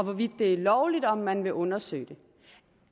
hvorvidt det er lovligt og om man vil undersøge det